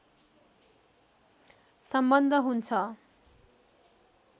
सम्बन्ध हुन्छ